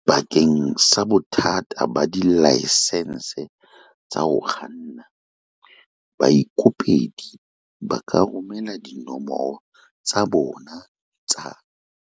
Bakeng sa bothata ba dilaesense tsa ho kganna, baikopedi ba ka romela dinomoro tsa bona tsa